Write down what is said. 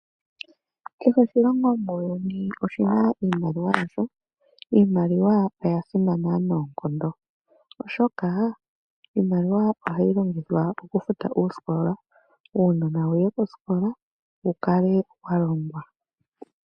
Kehe oshilongo muuyuni oshi na iimaliwa yasho, iimaliwa oya simana noonkondo, oshoka iimaliwa oha yi longithwa okufuta oosikola, uunona wu ye koosikola, wu kale wa longwa.